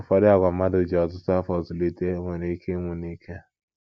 Ụfọdụ àgwà mmadụ ji ọtụtụ afọ zụlite nwere ike ịnwụ n'ike.